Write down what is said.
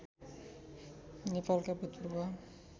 नेपालका भूतपूर्व